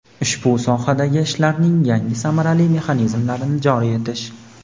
ushbu sohadagi ishlarning yangi samarali mexanizmlarini joriy etish;.